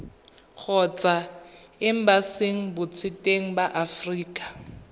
kgotsa embasing botseteng ba aforika